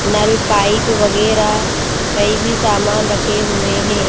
नल pipe वगैरह कई भी सामान रखे हुए हैं।